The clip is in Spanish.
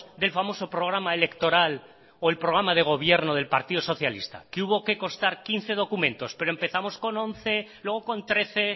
del famoso programa electoral o el programa de gobierno del partido socialista que hubo que constar quince documentos pero empezamos con once luego con trece